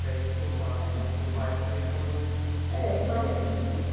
Daí esse contato com o seu pai também acabou... É, mas...